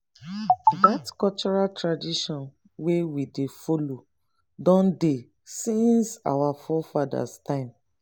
dat cultural tradition wey we dey follow don dey since our forefathers time